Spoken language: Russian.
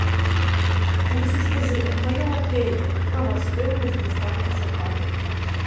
алиса скажи в моем отеле какова стоимость доставки заказа